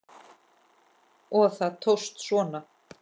Og það tókst svona!